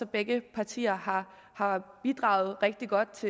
begge partier har bidraget rigtig godt